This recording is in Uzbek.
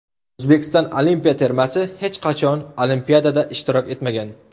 O‘zbekiston olimpiya termasi hech qachon Olimpiadada ishtirok etmagan.